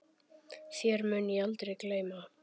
Þér mun ég aldrei gleyma.